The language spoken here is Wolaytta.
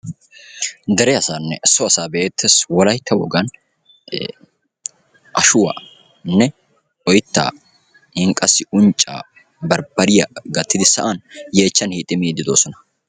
dere asanne so asa be'ettees; Wolaytta wogan ashuwanne oytta qassi uncca, barbbariya gattidi sa'an yeechchan hixxidi miide de'oossona.